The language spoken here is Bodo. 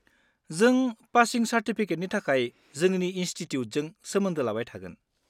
जों पासिं चार्टिफिकेटनि थाखाय जोंनि इनस्टिटिउटजों सोमोन्दो लाबाय थागोन।